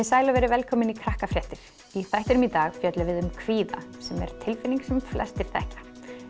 sæl og verið velkomin í Krakkafréttir í þættinum í dag fjöllum við um kvíða sem er tilfinning sem flestir þekkja